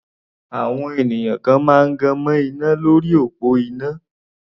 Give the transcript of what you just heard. Àwọn ènìyàn kan máa gan mọ́ iná lórí òpó iná.